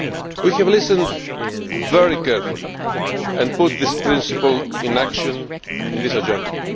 We have listened very carefully and put this principle into action in this Agenda.